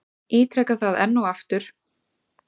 Ítreka það enn og aftur.